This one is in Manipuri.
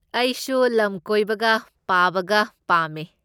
ꯑꯩꯁꯨ ꯂꯝ ꯀꯣꯏꯕꯒ ꯄꯥꯕꯒ ꯄꯥꯝꯃꯦ꯫